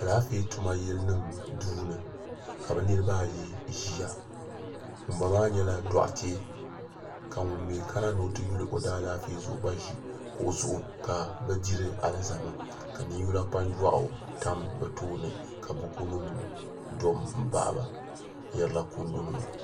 Alaafee tuma yili nima duuni ka bɛ niriba ayi ʒia ŋunba maa nyɛla doɣate ka ŋun mee kana ni o ti yuli alaafee zuɣu gba ʒi kuɣu zuɣu ka bɛ diri alizama ka ninyula kpanjuaɣu tam bɛ tooni ka buku nima do m baɣaba n yerila kundu nima.